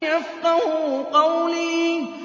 يَفْقَهُوا قَوْلِي